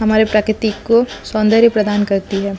हमारे प्रकृति को सोन्दरिया सौंदर्य प्रदान करती है।